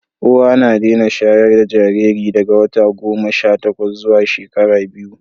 uwa na Dena shayarda Jariri daga wata goma Sha takwas zuwa shekara biyu